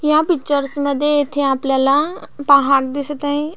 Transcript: ह्या पिक्चरस मध्ये इथे आपल्याला पहाड दिसत आहे.